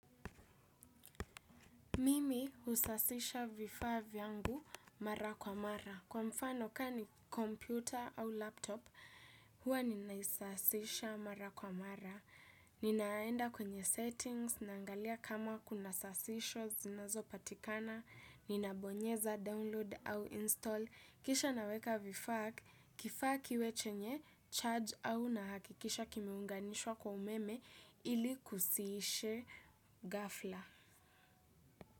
Mimi husasisha vifaa vyangu mara kwa mara. Kwa mfano, kaa ni kompyuta au laptop, huwa ninaisasisha mara kwa mara. Ninaenda kwenye settings, naangalia kama kuna sasisho, zinazopatikana, ninabonyeza, download au install. Kisha naweka vifaa, kifaa kiwe chenye, charge au nahakikisha kimeunganishwa kwa umeme ili kusiishe ghafla.